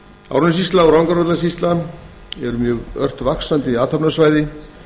árnessýsla og rangárvallasýsla eru mjög ört vaxandi athafnasvæði